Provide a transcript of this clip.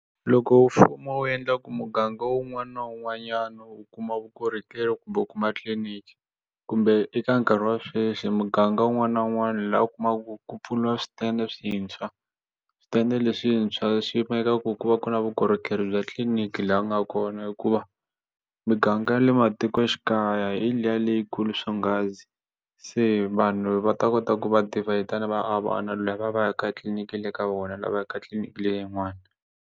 Loko mfumo wu endla ku muganga wun'wana na wun'wanyana u kuma vukorhokeri kumbe u kuma tliliniki kumbe eka nkarhi wa sweswi muganga wun'wana na wun'wana laha u kumaka ku kupfuriwa swintshwa leswintshwa swi va nyika ku ku va ku na vukorhokeri bya tliliniki laha ku nga kona hikuva miganga ya le matikoxikaya hi liya leyikulu swa nghazi se vanhu va ta kota ku va divider na va a va na liya va ya va ya ka tliliniki le ka vona lavaya ka tliliniki leyin'wani.